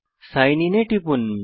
sign in এ টিপুন